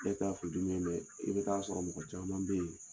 Bɛɛ ta ye furu dimi ye mɛ i bɛ t'a sɔrɔ mɔgɔ caman bɛ yen